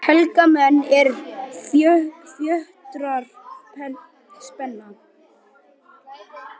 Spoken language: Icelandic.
Helga menn, er fjötrar spenna